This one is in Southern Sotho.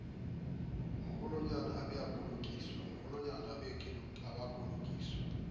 maholwanyane e be a kolokiswa